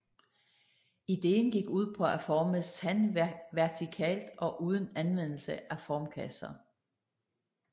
Ideen gik ud på at forme sand vertikalt og uden anvendelse af formkasser